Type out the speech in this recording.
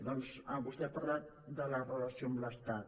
doncs vostè ha parlat de la relació amb l’estat